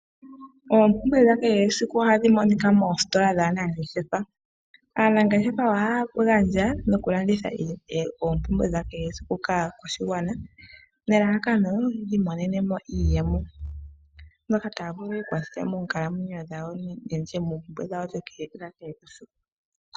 Oompumbwe dhakehe esiku ohadhi monikwa moositola dhaanangeshefa. Aanangeshefa ohaya gandja noku landitha oompumbwe dha kehe esiku kaakwashigwana nelalakano yiimonene mo iiyemo, moka taya vulu yi ikwathele meenkalamwenyo dhawo nenge meempumbwe dhawo dha kehe esiku.